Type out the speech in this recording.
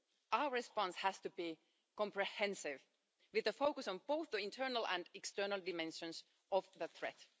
Our response has to be comprehensive, with a focus on both the internal and external dimensions of the threat.